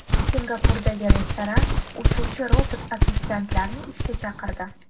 Singapurdagi restoran uchuvchi robot-ofitsiantlarni ishga chaqirdi.